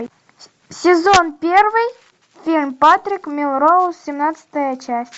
сезон первый фильм патрик мелроуз семнадцатая часть